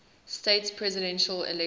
states presidential election